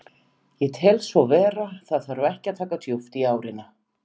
Ég tel svo vera, það þarf ekki að taka of djúpt í árina.